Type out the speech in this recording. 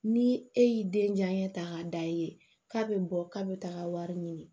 Ni e y'i den janɲɛ ka d'a ye k'a be bɔ k'a be taga wari ɲini